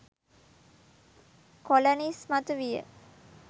colony ඉස්මතු විය